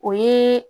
O ye